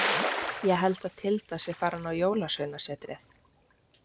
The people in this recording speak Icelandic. Ég held að Tilda sé farin á Jólasveinasetrið.